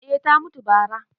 eh ta mutu bara